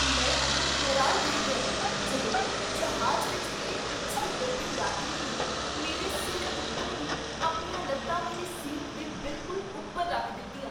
ਮੈਂ ਉਦੋਂ ਹੈਰਾਨ ਰਹਿ ਗਿਆ ਜਦੋਂ ਜ਼ਹਾਜ ਵਿਚ ਮੇਰੇ ਪਿੱਛੇ ਬੈਠੇ ਯਾਤਰੀ ਨੇ ਮੇਰੇ ਸਿਰ ਉੱਤੋ ਦੀ ਆਪਣੀਆਂ ਲੱਤਾਂ ਮੇਰੀ ਸੀਟ ਦੇ ਬਿਲਕੁਲ ਉੱਪਰ ਰੱਖ ਦਿੱਤੀਆਂ!